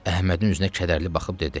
Əhmədin üzünə kədərli baxıb dedi: